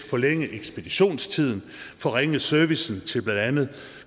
forlænge ekspeditionstiden forringe servicen til blandt andet